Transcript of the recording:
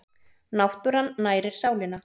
Náttúran nærir sálina